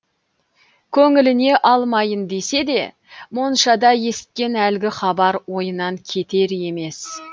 көңіліне алмайын десе де моншада есіткен әлгі хабар ойынан кетер емес